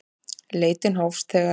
Leit hófst þegar